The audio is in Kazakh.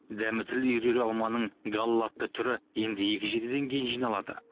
дәмі тіл үйірер алманың гала атты түрі енді екі жетіден кейін жиналады